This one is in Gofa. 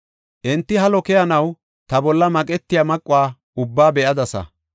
Enti halo keyanaw ta bolla maqetiya maquwa ubbaa be7adasa.